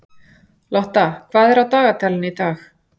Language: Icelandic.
Lotta, hvað er á dagatalinu í dag?